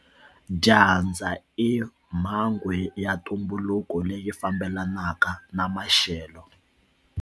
Dyandza i mhangu ya ntumbuluko leyi fambelanaka na maxelo.